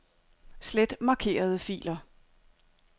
Slet markerede filer.